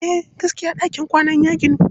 Eh, gaskiya ɗakin kwanan ya ginu.